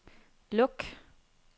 luk